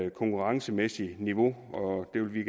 et konkurrencemæssigt niveau og det vil vi